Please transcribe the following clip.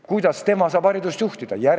Kuidas tema saab haridust juhtida?